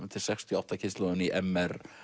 er sextíu og átta kynslóðin í m r